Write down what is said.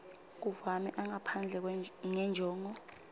kumave angaphandle ngenjongo